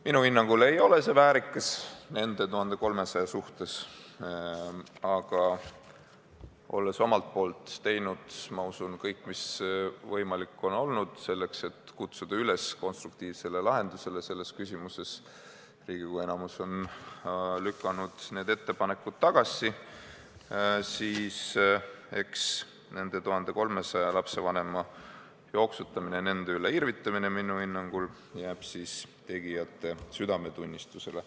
Minu hinnangul ei ole see väärikas nende 1300 inimese suhtes, aga olles omalt poolt teinud, ma usun, kõik, mis võimalik on olnud, selleks et kutsuda selles küsimuses üles konstruktiivse lahenduse leidmisele, ja kuna Riigikogu enamus on lükanud need ettepanekud tagasi, siis nende 1300 lapse vanemate jooksutamine, nende üle irvitamine jääb minu hinnangul tegijate südametunnistusele.